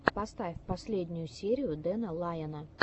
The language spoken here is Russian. поставь последнюю серию дэна лайона